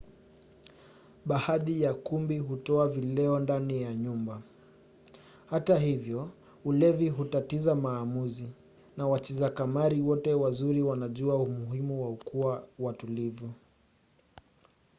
baadhi ya kumbi hutoa vileo ndani ya nyumba. hata hivyo ulevi hutatiza maamuzi na wacheza kamari wote wazuri wanajua umuhimu wa kuwa watulivu